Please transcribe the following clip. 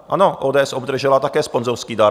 Ano, ODS obdržela také sponzorský dar.